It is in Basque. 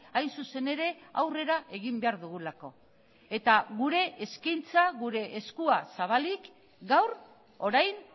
hain zuzen ere aurrera egin behar dugulako eta gure eskaintza gure eskua zabalik gaur orain